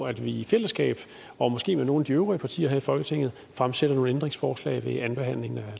at vi i fællesskab og måske med nogle af de øvrige partier her i folketinget fremsætter nogle ændringsforslag ved andenbehandlingen af